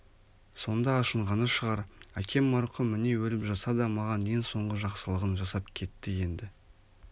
сонда ашынғаны шығар әкем марқұм міне өліп жатса да маған ең соңғы жақсылығын жасап кетті енді